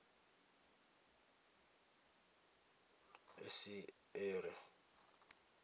esiṱere